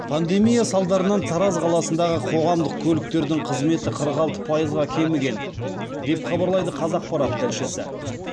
пандемия салдарынан тараз қаласындағы қоғамдық көліктердің қызметі қырық алты пайызға кеміген деп хабарлайды қазақпарат тілшісі